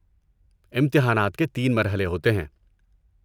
امتحانات کے تین مرحلے ہوتے ہیں۔